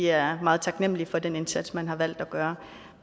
er meget taknemlige for den indsats man har valgt at gøre